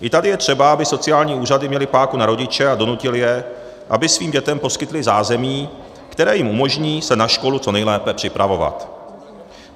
I tady je třeba, aby sociální úřady měly páku na rodiče a donutily je, aby svým dětem poskytli zázemí, které jim umožní se na školu co nejlépe připravovat.